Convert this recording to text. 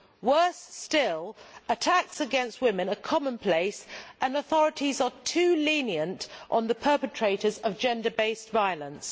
Worse still, attacks against women are commonplace, and the authorities are too lenient on the perpetrators of gender based violence.